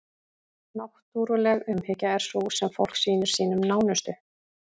náttúruleg umhyggja er sú sem fólk sýnir sínum nánustu